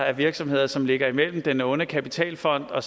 af virksomheder som ligger imellem den onde kapitalfond og